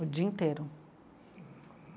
O dia inteiro.